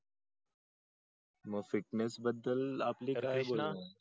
मग fitness बद्दल आपल काय बोलण आहे आहे ना.